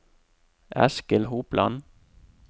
Eskil Hopland